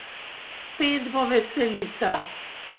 Spet bo veselica!